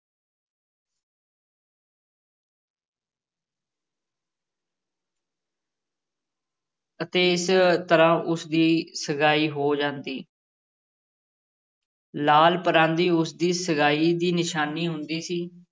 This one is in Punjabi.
ਅਤੇ ਇਸ ਤਰ੍ਹਾਂ ਉਸ ਦੀ ਸਗਾਈ ਹੋ ਜਾਂਦੀ ਲਾਲ ਪਰਾਂਦੀ ਉਸ ਦੀ ਸਗਾਈ ਦੀ ਨਿਸ਼ਾਨੀ ਹੁੰਦੀ ਸੀ।